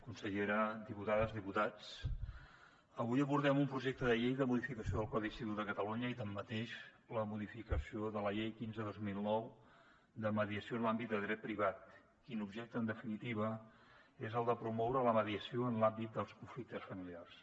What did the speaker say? consellera diputades i diputats avui abordem un projecte de llei de modificació del codi civil de catalunya i així mateix la modificació de la llei quinze dos mil nou de mediació en l’àmbit de dret privat l’objecte del qual en definitiva és el de promoure la mediació en l’àmbit dels conflictes familiars